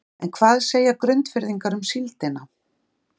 En hvað segja Grundfirðingar um síldina?